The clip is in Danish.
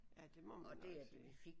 Ja det må man nok sige